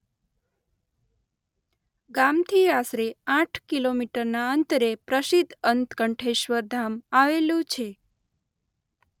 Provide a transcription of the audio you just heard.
ગામથી આશરે આઠ કિલોમીટરના અંતરે પ્રસિદ્ધ ઉત્કંઠેશ્વર ધામ આવેલું છે